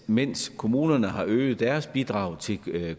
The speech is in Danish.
mens kommunerne har øget deres bidrag til